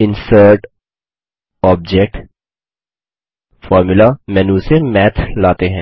इंसर्टगटोबजेक्टग्टफॉर्मुला menu से math लाते हैं